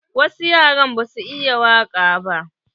Wasu yaran ba su iya waƙa ba.